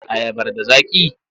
Ayabar da zaƙi?